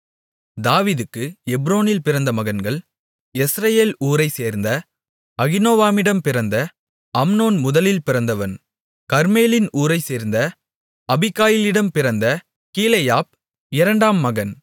தாவீதுக்கு எப்ரோனில் பிறந்த மகன்கள் யெஸ்ரெயேல் ஊரைச்சேர்ந்த அகினோவாமிடம் பிறந்த அம்னோன் முதலில் பிறந்தவன் கர்மேலின் ஊரைச்சேர்ந்த அபிகாயிலிடம் பிறந்த கீலேயாப் இரண்டாம் மகன்